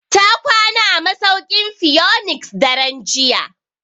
Ta kwana a masauki'n phoenix daren jiya.